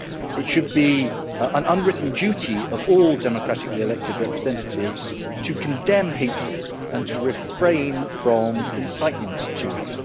It should be an unwritten duty of all democratically elected representatives to condemn hatred and to refrain from incitement to it.